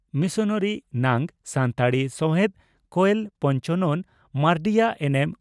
missionary ᱱᱟᱝ ᱥᱟᱱᱛᱟᱲᱤ ᱥᱟᱣᱦᱮᱫ ᱠᱚᱭᱮᱞ ᱯᱚᱧᱪᱚᱱᱚᱱ ᱢᱟᱨᱰᱤᱭᱟᱜ ᱮᱱᱮᱢ